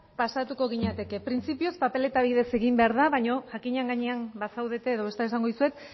pasatuko ginateke printzipioz papeleta bidez egin behar da baina jakinaren gainean bazaudete edo bestela esango dizuet